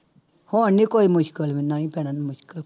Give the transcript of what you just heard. ਹੁਣ ਨੀ ਕੋਈ ਮੁਸਕਲ ਨਹੀਂ ਭੈਣਾ ਮੁਸਕਲ